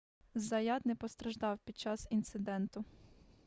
заят не постраждав під час інциденту